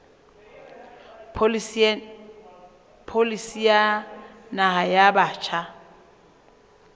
pholisi ya naha ya batjha